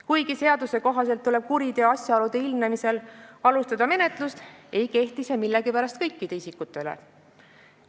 Kuigi seaduse kohaselt tuleb kuriteo asjaolude ilmnemisel alustada menetlust, ei kehti see millegipärast kõikide isikute kohta.